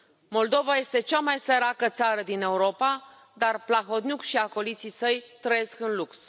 Moldova este cea mai săracă țară din Europa, dar Plahotniuc și acoliții săi trăiesc în lux.